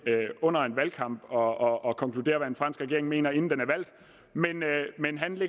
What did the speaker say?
under en valgkamp og konkluderer hvad en fransk regeringen mener inden den